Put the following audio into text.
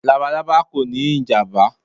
Labalaba kò ní ìjàmbá.